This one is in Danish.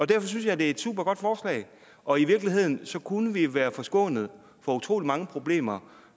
derfor synes jeg det er et supergodt forslag og i virkeligheden kunne vi være forskånet for utrolig mange problemer